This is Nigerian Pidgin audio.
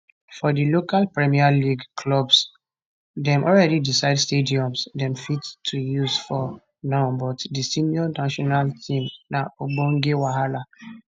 for di local premier league clubs dem already decide stadiums dem fit to use for now but for di senior national team na ogbonge wahala